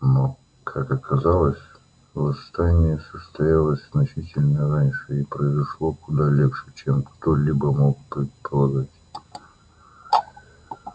но как оказалось восстание состоялось значительно раньше и произошло куда легче чем кто-либо мог предполагать